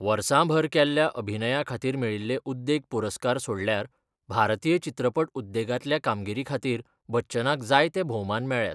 वर्सांभर केल्ल्या अभिनया खातीर मेळिल्ले उद्देग पुरस्कार सोडल्यार भारतीय चित्रपट उद्देगांतल्या कामगिरी खातीर बच्चनाक जायते भोवमान मेळ्ळ्यात.